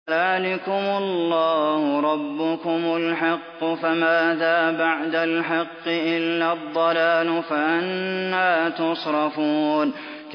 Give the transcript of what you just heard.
فَذَٰلِكُمُ اللَّهُ رَبُّكُمُ الْحَقُّ ۖ فَمَاذَا بَعْدَ الْحَقِّ إِلَّا الضَّلَالُ ۖ فَأَنَّىٰ تُصْرَفُونَ